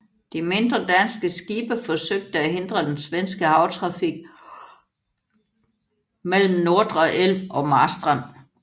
De mindre danske skibe forsøgte at hindre den svenske havtrafik mellem Nordre elv og Marstrand